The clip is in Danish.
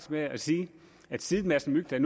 med at sige at siden madsen mygdal